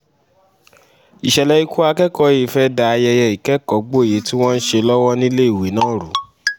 ìṣẹ̀lẹ̀ ikú akẹ́kọ̀ọ́ yìí fẹ́ẹ́ da ayẹyẹ ìkẹ́kọ̀ọ́-gboyè tí wọ́n ń ṣe lọ́wọ́ níléèwé náà rú